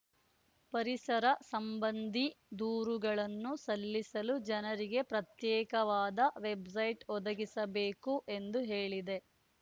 ಪರಿಸರ ಸಂಬಂಧಿ ದೂರುಗಳನ್ನು ಸಲ್ಲಿಸಲು ಜನರಿಗೆ ಪ್ರತ್ಯೇಕವಾದ ವೆಬ್‌ಸೈಟ್‌ ಒದಗಿಸಬೇಕು ಎಂದು ಹೇಳಿದೆ